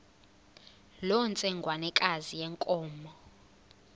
loo ntsengwanekazi yenkomo